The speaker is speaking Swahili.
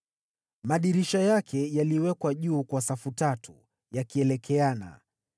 Madirisha yake yaliwekwa juu kwa safu tatu, yakielekeana.